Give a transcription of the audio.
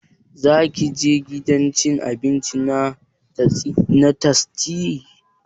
Za ka je gidan cin abinci na tastia?